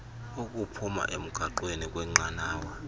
ukuphuma emgaqweni kwnqanawa